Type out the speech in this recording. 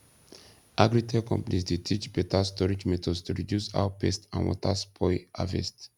agritech companies dey teach beta storage methods to reduce how pests and water spoil harvest